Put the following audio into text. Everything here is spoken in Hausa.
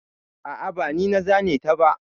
A'a, ba ni na zane ta ba.